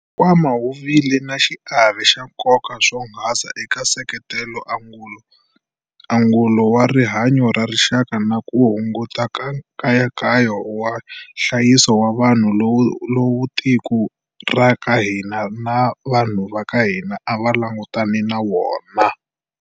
Nkwama wu vile na xiave xa nkoka swonghasi eka ku seketela angulo wa rihanyo ra rixaka na ku hunguta nkayakayo wa nhlayiso wa vanhu lowu tiko ra ka hina na vanhu va ka hina a va langutane na wona.